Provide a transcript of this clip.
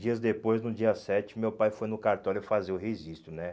Dias depois, no dia sete, meu pai foi no cartório fazer o registro né.